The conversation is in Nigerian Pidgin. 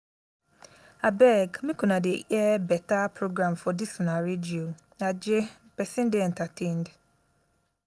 abeg make una dey air beta program for dis una radio .aje person dey entertained